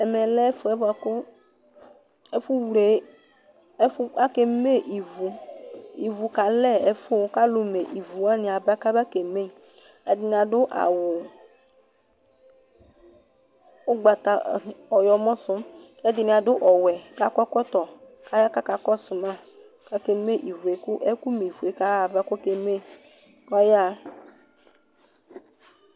ɛmɛ lɛ ɛfu bʋa ku, ɛfu vle, ɛfu, ake me ivu ivu kalɛ ɛfu kalu me ivu wʋani aba kaba ke me , ɛdini adu awu ugbata, ɔyɔmɔ su kɛdini, adu ɔwɛ kakɔ ɛkɔtɔ, k'aya kɔsu ma , kake me ivue , ku ɛku me ivue k'ayaɣa kɔke me kɔyaɣa